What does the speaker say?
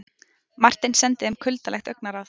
Marteinn sendi þeim kuldalegt augnaráð.